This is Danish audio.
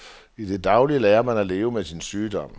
I det daglige lærer man at leve med sin sygdom.